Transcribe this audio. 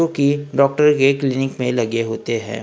Okay doctor clinic में लगे होते हैं।